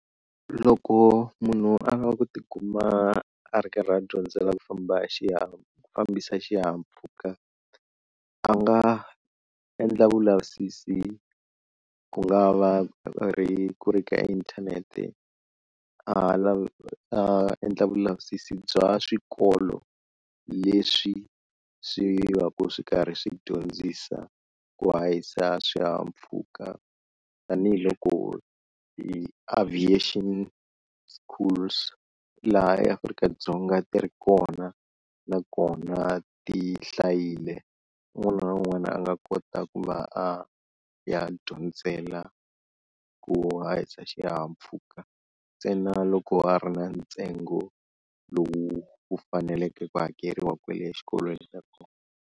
Loko munhu a lava ku tikuma a ri karhi a dyondzela ku famba hi xihahampfhuka ku fambisa xihahampfhuka a nga endla vulavisisi ku nga va ku ri ku ri ka inthanete a a endla vulavisisi bya swikolo leswi swi va ku swi karhi swi dyondzisa ku hahisa swihahampfhuka, tanihiloko i aviation schools laha eAfrika-Dzonga ti ri kona na kona ti hlayile, un'wana na un'wana a nga kota ku va a ya dyondzela ku hahisa xihahampfhuka ntsena loko a ri na ntsengo lowu wu faneleke ku hakeriwa kwale exikolweni xa kona.